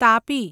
Tapi